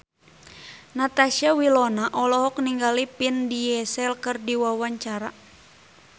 Natasha Wilona olohok ningali Vin Diesel keur diwawancara